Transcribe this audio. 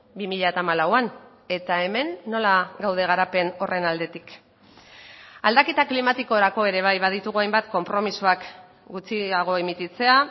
bi mila hamalauan eta hemen nola gaude garapen horren aldetik aldaketa klimatikorako ere bai baditugu hainbat konpromisoak gutxiago emititzea